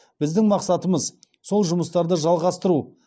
біздің мақсатымыз сол жұмыстарды жалғастыру